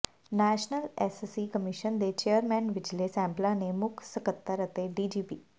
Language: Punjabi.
ਨੈਸ਼ਨਲ ਐਸਸੀ ਕਮਿਸ਼ਨ ਦੇ ਚੇਅਰਮੈਨ ਵਿਜੇ ਸੈਂਪਲਾਂ ਨੇ ਮੁੱਖ ਸਕੱਤਰ ਅਤੇ ਡੀਜੀਪੀ